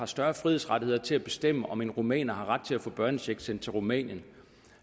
større frihedsrettigheder til at bestemme om en rumæner ret til at få børnechecks sendt til rumænien